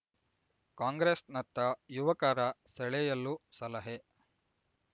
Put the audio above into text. ಕಾಂಗ್ರೆಸ್‌ನತ್ತ ಯುವಕರ ಸೆಳೆಯಲು ಸಲಹೆ